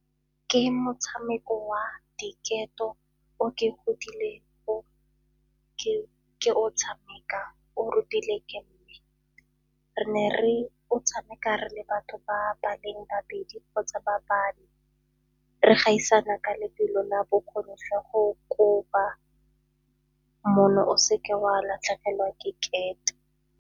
Ke motshameko wa diketo o ke godilego ke o tshameka, o rutile ke mme. Re ne re o tshameka re le batho ba ba leng babedi kgotsa ba bane, re gaisana ka lebelo la bokgoni jwa go kopa mono o seke wa latlhegelwa ke kete.